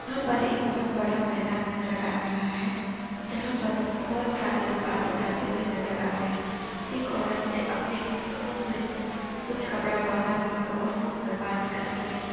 यहाँ पर एक बहुत बड़ा मैदान नज़र आ रहा है जहाँ पर बहुत सारे लोग आते जाते हुए नज़र आ रहे हैं एक औरत ने अपने मुहं पर कुछ कपड़ा बांधा हुआ है और फ़ोन पर बात कर रही है।